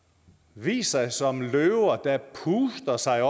vist sig som løver der puster sig